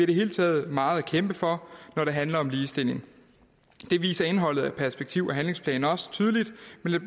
det hele taget meget at kæmpe for når det handler om ligestilling det viser indholdet af perspektiv og handlingsplanen også tydeligt